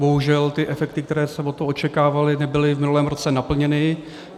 Bohužel ty efekty, které se od toho očekávaly, nebyly v minulém roce naplněny.